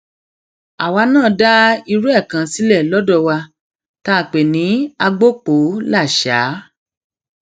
àwa náà dá irú ẹ kan sílẹ lọdọ wa tá a pè ní agbopolásáà